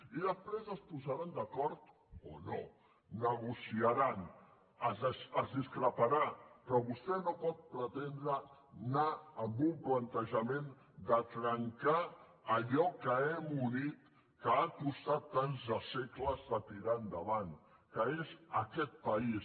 i després es posaran d’acord o no negociaran es discreparà però vostè no pot pretendre anar amb un plantejament de trencar allò que hem unit que ha costat tants de segles de tirar endavant que és aquest país